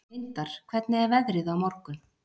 Vindar, hvernig er veðrið á morgun?